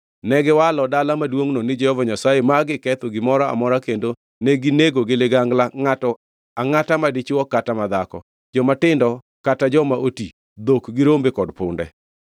Negiwalo dala maduongʼno ni Jehova Nyasaye ma giketho gimoro amora kendo ginego gi ligangla ngʼato angʼata madichwo kata madhako, jomatindo kata joma oti, dhok gi rombe kod punde.